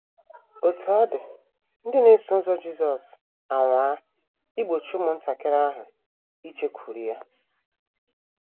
* Otú ọ dị, ndị na - eso ụzọ Jisọs anwaa igbochi ụmụntakịrị ahụ ijekwuru ya.